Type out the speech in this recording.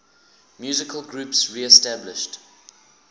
musical groups reestablished